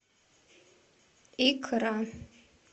икра